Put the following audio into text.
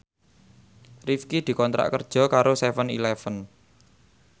Rifqi dikontrak kerja karo seven eleven